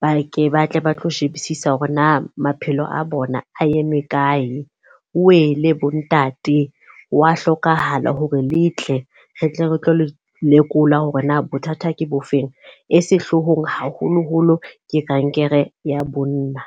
ba ke ba tle ba tlo shebisisa hore na maphelo a bona a eme kae. Owele bo ntate wa hlokahala hore le tle re tle re tlo le lekola hore na bothata ke bofeng. E sehloohong haholoholo ke kankere ya bonna.